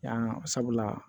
Yan sabula